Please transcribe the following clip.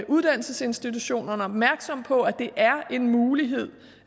uddannelsesinstitutionerne opmærksom på at det er en mulighed